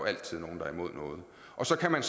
altid nogen der er imod noget og så kan man